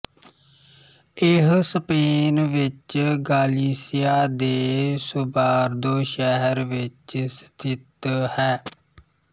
ਇਹ ਸਪੇਨ ਵਿੱਚ ਗਾਲੀਸੀਆ ਦੇ ਸੋਬਾਰਦੋ ਸ਼ਹਿਰ ਵਿੱਚ ਸਥਿਤ ਹੈ